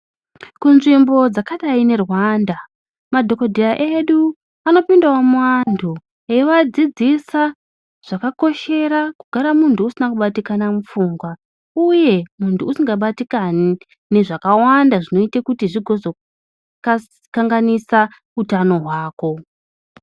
Kunzvimbo dzakadai neRwanda, madhokodheya edu anopindawo muanthu ,eivadzidzisa zvakakoshera kugara munthu usina kubatikana mupfungwa, uye munthu usingabatikani nezvakawanda zvinoite kuti zvigozoka kanganisa utano hwako.